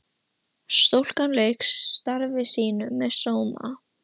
Stúlkan lauk starfi sínu með sóma.